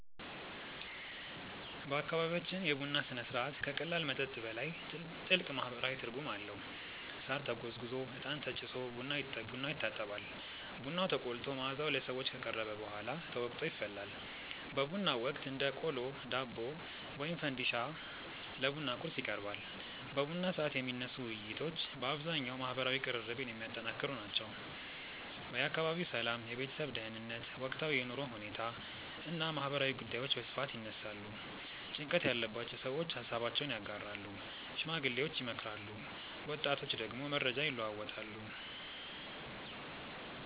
በአካባቢያችን የቡና ሥነ ሥርዓት ከቀላል መጠጥ በላይ ጥልቅ ማህበራዊ ትርጉም አለው። ሳር ተጎዝጉዞ፣ እጣን ተጭሶ ቡናው ይታጠባል። ቡናው ተቆልቶ መዓዛው ለሰዎች ከቀረበ በኋላ ተወቅጦ ይፈላል። በቡናው ወቅት እንደ ቆሎ፣ ዳቦ ወይም ፈንዲሻ ለቡና ቁርስ ይቀርባል። በቡና ሰዓት የሚነሱ ውይይቶች በአብዛኛው ማህበራዊ ቅርርብን የሚያጠነክሩ ናቸው። የአካባቢው ሰላም፣ የቤተሰብ ደህንነት፣ ወቅታዊ የኑሮ ሁኔታ እና ማህበራዊ ጉዳዮች በስፋት ይነሳሉ። ጭንቀት ያለባቸው ሰዎች ሃሳባቸውን ያጋራሉ፣ ሽማግሌዎች ይመክራሉ፣ ወጣቶች ደግሞ መረጃ ይለዋወጣሉ።